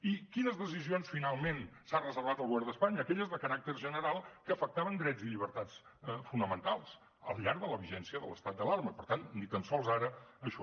i quines decisions finalment s’ha reservat el govern d’espanya aquelles de caràcter general que afectaven drets i llibertats fonamentals al llarg de la vigència de l’estat d’alarma i per tant ni tan sols ara això